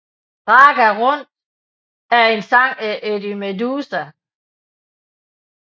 Ragga Runt er en sang af Eddie Meduza